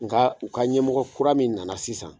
Nga u ka ɲɛmɔgɔ kura min nana sisan